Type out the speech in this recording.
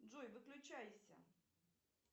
джой выключайся